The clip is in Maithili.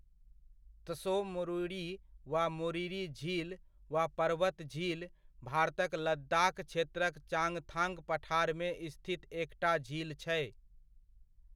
त्सो मोरिरी वा मोरिरी झील वा पर्वत झील भारतक लद्दाख़ क्षेत्रक चांगथांग पठारमे स्थित एकटा झील छै।